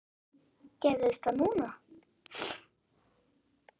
Gerðist það núna?